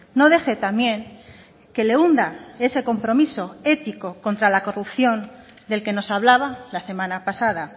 no deje también que le hunda ese compromiso ético contra la corrupción del que nos hablaba la semana pasada